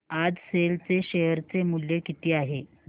आज सेल चे शेअर चे मूल्य किती आहे